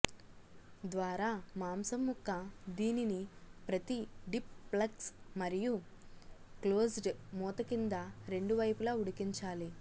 ద్వారా మాంసం ముక్క దీనిని ప్రతి డిప్ ప్లగ్స్ మరియు క్లోజ్డ్ మూత కింద రెండు వైపులా ఉడికించాలి